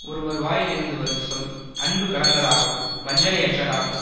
ஒருவர் வாயிலிருந்து வரும் சொல் அன்பு கலந்ததாகவும் வஞ்சனையற்றதாகவும்